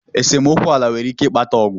Esemokwu ala nwere ike ịkpata Ọgụ.